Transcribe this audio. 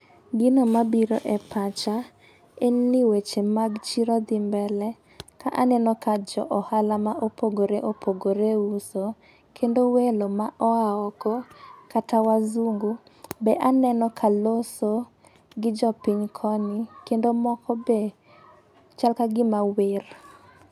Gino mabiro e pacha en ni weche mag chiro dhi mbele ka neno ka jo ohala ma opogore opogore uso kendo welo ma oa oko kata wazungu be aneno ka loso gi jopiny koni kendo moko be chal ka gima wer.